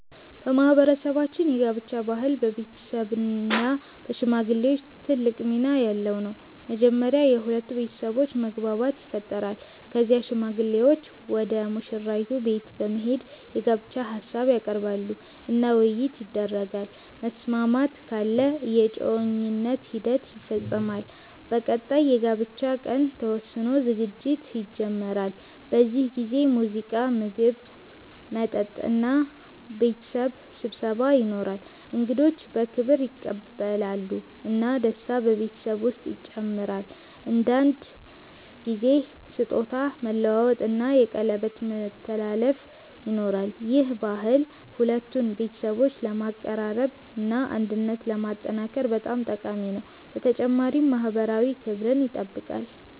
በማህበረሰባችን የጋብቻ ባህል በቤተሰብ እና በሽማግሌዎች ትልቅ ሚና ያለው ነው። መጀመሪያ የሁለቱ ቤተሰቦች መግባባት ይፈጠራል። ከዚያ ሽማግሌዎች ወደ ሙሽራይቱ ቤት በመሄድ የጋብቻ ሀሳብ ያቀርባሉ እና ውይይት ይደረጋል። መስማማት ካለ የእጮኝነት ሂደት ይፈጸማል። በቀጣይ የጋብቻ ቀን ተወስኖ ዝግጅት ይጀመራል። በዚህ ጊዜ ሙዚቃ፣ ምግብ፣ መጠጥ እና ቤተሰብ ስብሰባ ይኖራል። እንግዶች በክብር ይቀበላሉ እና ደስታ በቤተሰቡ ውስጥ ይጨምራል። አንዳንድ ጊዜ ስጦታ መለዋወጥ እና የቀለበት ማስተላለፍ ይኖራል። ይህ ባህል ሁለቱን ቤተሰቦች ለማቀራረብ እና አንድነትን ለማጠናከር በጣም ጠቃሚ ነው፣ በተጨማሪም ማህበራዊ ክብርን ይጠብቃል።